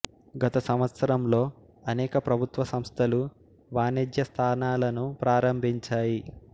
గత సంవత్సరంలో అనేక ప్రభుత్వ సంస్థలు వాణిజ్య స్థానాలను ప్రారంభించాయి